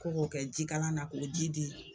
Ko k'o kɛ jikalan na k'o ji di